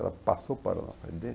Ela passou para lá.